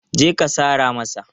Je ka sara masa!